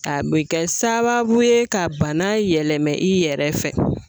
A bɛ kɛ sababu ye ka bana yɛlɛmɛ i yɛrɛ fɛ